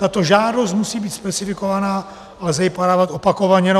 Tato žádost musí být specifikována a lze ji podávat opakovaně.